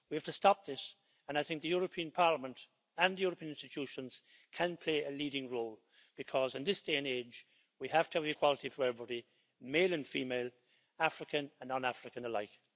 We have to stop this and I think the European Parliament and the European institutions can play a leading role because in this day and age we have to have equality for everybody, male and female, African and non African alike.